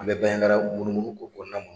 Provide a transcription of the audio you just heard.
An bɛ Banjagaraw munumunu ko kɔnɔna